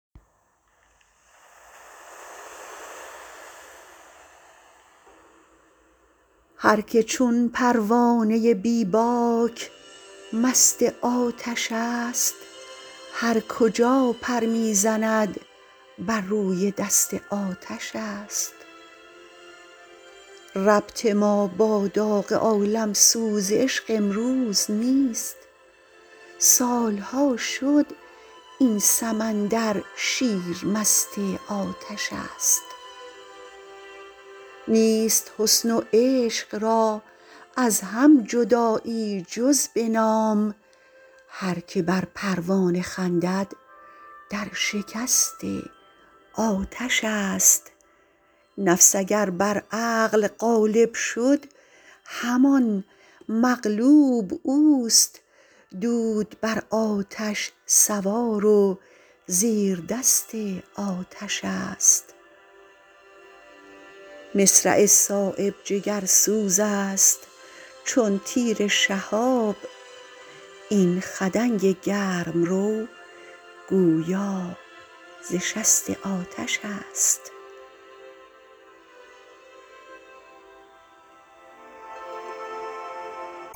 هر که چون پروانه بی باک مست آتش است هر کجا پر می زند بر روی دست آتش است ربط ما با داغ عالمسوز عشق امروز نیست سالها شد این سمندر شیر مست آتش است نیست حسن و عشق را از هم جدایی جز به نام هر که بر پروانه خندد در شکست آتش است نفس اگر بر عقل غالب شد همان مغلوب اوست دود بر آتش سوار و زیر دست آتش است مصرع صایب جگرسوزست چون تیر شهاب این خدنگ گرمرو گویا ز شست آتش است